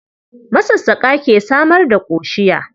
Masassƙa ke samar da ƙoshiya.